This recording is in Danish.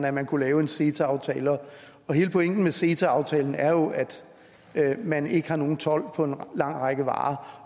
at man kunne lave en ceta aftale og hele pointen med ceta aftalen er jo at man ikke har nogen told på en lang række varer